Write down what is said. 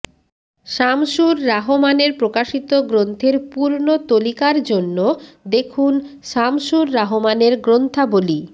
শামসুর রাহমানের প্রকাশিত গ্রন্থের পূর্ণ তলিকার জন্য দেখুন শামসুর রাহমানের গ্রন্থাবলি